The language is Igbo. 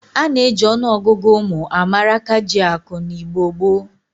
A na-eji ọnụọgụgụ ụmụ a mara akajiakụ n'Igbo gboo.